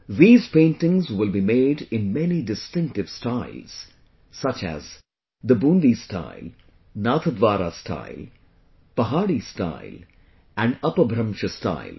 These paintings will be made in many distinctive styles such as the Bundi style, Nathdwara style, Pahari style and Apabhramsh style